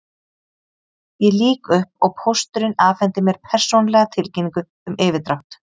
Ég lýk upp og pósturinn afhendir mér persónulega tilkynningu um yfirdrátt.